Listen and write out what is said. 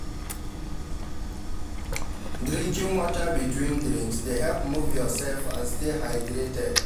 Drinking water between drinks dey help move yourself and stay hydrated.